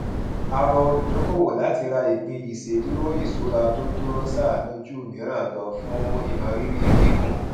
a rọ olùdókòwò láti ra ìpín ìṣedúró ìṣura tó dúró sánún ju mìíràn lọ fún ìmọrírì gígùn